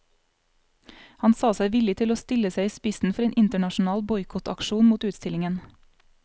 Han sa seg villig til å stille seg i spissen for en internasjonal boikottaksjon mot utstillingen.